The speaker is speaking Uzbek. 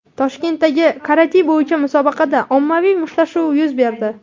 Toshkentdagi karate bo‘yicha musobaqada ommaviy mushtlashuv yuz berdi.